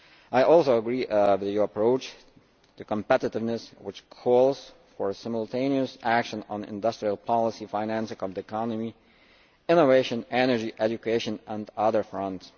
I also agree with your approach to competitiveness, which calls for simultaneous action on industrial policy, financing of the economy, innovation, energy, education and other fronts.